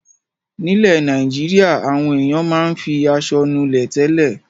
Nílẹ̀ Nàìjíríà àwọn ènìyàn máa ń fi aṣọ nulẹ̀ tẹ́lẹ̀.